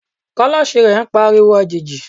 kulosí rẹ n pa ariwo ajejí